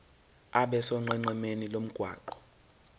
abe sonqenqemeni lomgwaqo